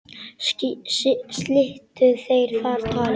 Slitu þeir þar talinu.